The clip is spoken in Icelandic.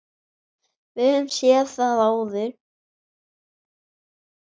Við höfum séð það áður.